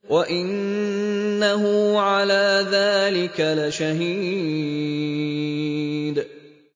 وَإِنَّهُ عَلَىٰ ذَٰلِكَ لَشَهِيدٌ